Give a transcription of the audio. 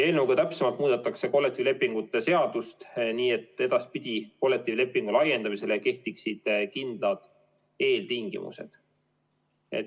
Eelnõuga täpsemalt muudetakse kollektiivlepingu seadust nii, et edaspidi kehtiksid kollektiivlepingu laiendamisele kindlad eeltingimused.